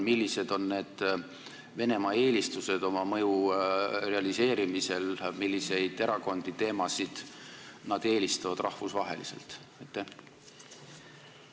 Millised on Venemaa eelistused oma mõju realiseerimisel – milliseid erakondi, teemasid nad rahvusvaheliselt eelistavad?